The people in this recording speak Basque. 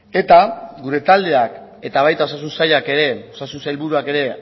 eta gure taldeak eta baita osasun sailak ere osasun sailburuak ere